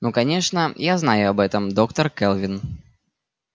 ну конечно я знаю об этом доктор кэлвин